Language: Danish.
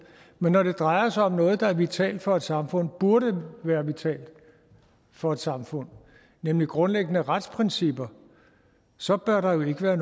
men når det drejer sig om noget der er vitalt for et samfund burde være vitalt for et samfund nemlig grundlæggende retsprincipper så bør der jo ikke være